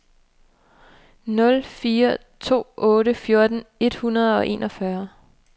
nul fire to otte fjorten et hundrede og enogfyrre